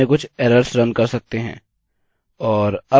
और अब हमें संरचना को शुरू करना होगा